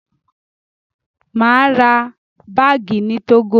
Mà á ra báágì ní Tógò.